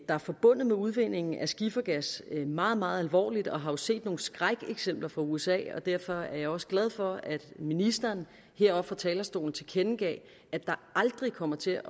er forbundet med udvindingen af skifergas meget meget alvorligt og har jo set nogle skrækeksempler fra usa derfor er jeg også glad for at ministeren heroppe fra talerstolen tilkendegav at der aldrig kommer til